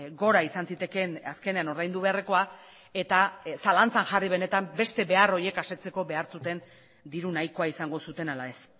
gora izan zitekeen azkenean ordaindu beharrekoa eta zalantzan jarri benetan beste behar horiek asetzeko behar zuten diru nahikoa izango zuten ala ez